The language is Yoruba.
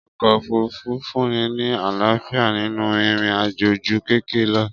Ọkọ òfurufú fúnni ní àlàáfíà ninu ìrìn àjò ju kẹkẹ lọ